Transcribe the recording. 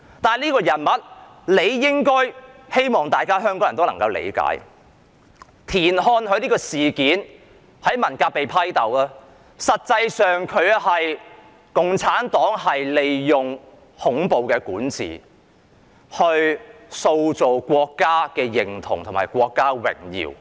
但是，我希望香港人理解到，田漢在文革被批鬥，實際上是出於共產黨利用恐怖管治，塑造國家認同及國家榮耀。